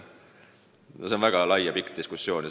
Tegu on väga laiapõhjalise ja kaua kestnud diskussiooniga.